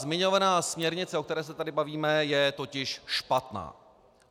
Zmiňovaná směrnice, o které se tady bavíme, je totiž špatná.